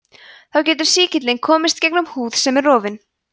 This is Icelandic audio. þá getur sýkillinn komist gegnum húð sem er rofin